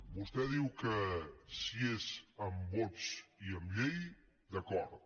vostè diu que si és amb vots i amb llei d’acord